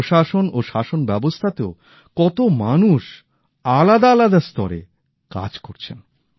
প্রশাসন ও শাসনব্যবস্থাতেও কতো মানুষ আলাদা আলাদা স্তরে কাজ করছেন